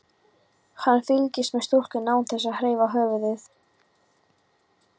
Hann fylgist með stúlkunni án þess að hreyfa höfuðið.